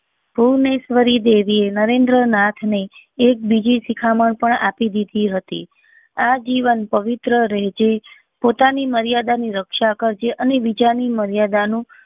ભુવનેશ્વરી દેવી એ નરેન્દ્ર નાથ ને એક બીજી શિખામણ પણ આપી દીધી હતી આજીવન પવિત્ર રહેજે પોતાની મર્યાદા ની રક્ષા કરજે અને બીજા ની મર્યાદા નું